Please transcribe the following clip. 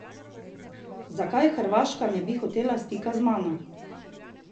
Zakaj Hrvaška ne bi hotela stika z mano?